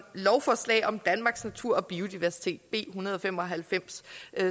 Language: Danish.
lovforslag om danmarks natur og biodiversitet b en hundrede og fem og halvfems